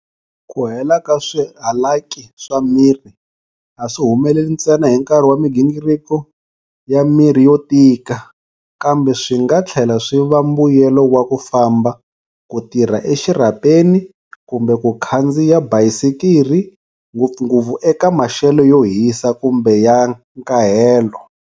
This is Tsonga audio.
Ku hela ka swihalaki swa miri a swi humeleli ntsena hi nkarhi wa migingiriko ya miri yo tika, kambe swi nga tlhela swi va mbuyelo wa ku famba, ku tirha exirhapeni kumbe ku khandziya bayisikiri, ngopfungopfu eka maxelo yo hisa kumbe ya nkahelo.